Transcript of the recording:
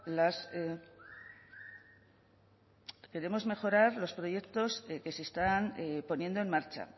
las queremos mejorar los proyectos que se están poniendo en marcha